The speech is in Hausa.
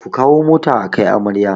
Ku kawo mota akai amarya